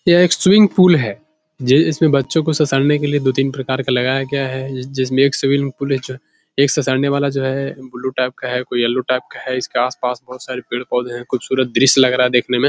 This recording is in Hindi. यह एक स्विंग पुल है जे इसमें बच्चो को ससारने के लिए दो-तीन प्रकार का लगाया गया है जे जिसमे एक स्विंग पुल है जो एक ससारने वाला जो है । कोई ब्लू टाइप का है कोई येलो टाइप का है । इसके आसपास बोहोत सारे पेड़- पौधे हैं । ख़ूबसूरत दृश्य लग रहा है देखने में ।